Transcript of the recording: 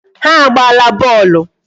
Ha agbaala bọọlụ.